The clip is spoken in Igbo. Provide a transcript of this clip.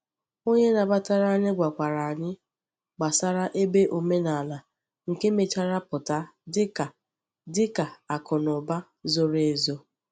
Onye nabatara anyị gwakwara anyị gbasara ebe omenaala, nke mechara pụta dị ka dị ka akụnụba zoro ezo.